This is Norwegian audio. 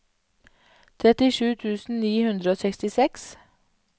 trettisju tusen ni hundre og sekstiseks